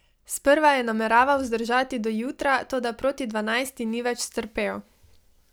Sprva je nameraval zdržati do jutra, toda proti dvanajsti ni več strpel.